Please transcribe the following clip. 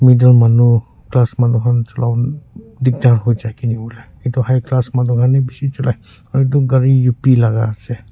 middle manu class manu khan jolawolae diktar hoikae edu high class manu khan he bishi cholai aro edu gari up la ase.